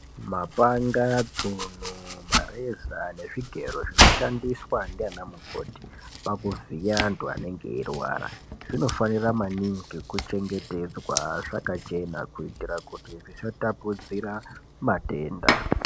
Mapanga, tsono , mareza nezvigero zvinoshandiswa ndiana mukoti pakuvhiya antu anenga eirwara zvinofanira maningi kuchengetedzwa zvakachena kuitira kuti zvisatapudzira matenda.